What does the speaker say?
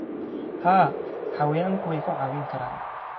Haa, xayawaanku way ku caawin karaan.